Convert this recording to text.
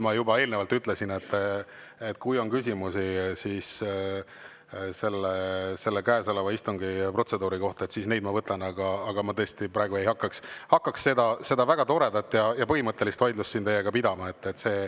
Ma juba eelnevalt ütlesin, et kui on küsimusi käesoleva istungi protseduuri kohta, siis neid ma võtan, aga ma tõesti ei hakka siin praegu teiega seda väga toredat ja põhimõttelist vaidlust pidama.